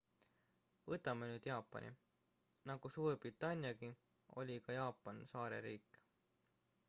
võtame nüüd jaapani nagu suurbritanniagi oli ka jaapan saareriik